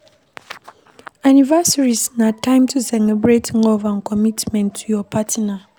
Anniversaries na time to celebrate love and commitment to your partner